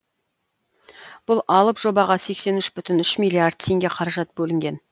бұл алып жобаға сексен үш бүтін үш миллиард теңге қаражат бөлінген